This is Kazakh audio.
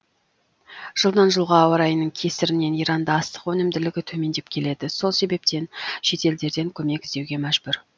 жылдан жылға ауа райының кесірінен иранда астық өнімділігі төмендеп келеді сол себептен шетелдерден көмек іздеуге мәжбүр